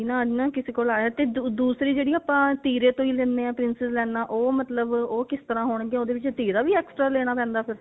ਨਾ ਕਿਸੀ ਕੋਲੋਂ ਆਇਆ ਤੇ ਦੂਸਰੀ ਜਿਹੜੀ ਆਪਾਂ ਤੀਰੇ ਤੋਂ ਹੀ ਲੈਣੇ ਆ princess ਲਾਈਨਾ ਉਹ ਮਤਲਬ ਉਹ ਕਿਸ ਤਰ੍ਹਾਂ ਹੋਣਗੀਆਂ ਉਹਦੇ ਵਿੱਚ ਤੀਰਾ ਵੀ extra ਲੈਣਾ ਪੈਂਦਾ ਫ਼ੇਰ